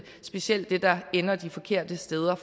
specielt det der ender de forkerte steder